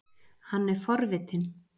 Hann er forvitinn.